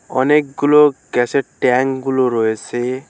অনেকগুলো গ্যাসের ট্যাংগুলো রয়েছে।